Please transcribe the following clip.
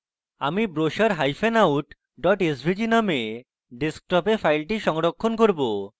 আমি brochureout svg name আমাদের ডেস্কটপে file সংরক্ষণ করব